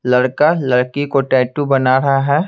लड़का लड़की को टैटू बना रहा है।